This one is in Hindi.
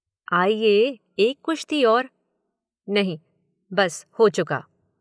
आइए, एक कुश्ती और। नहीं, बस हो चुका।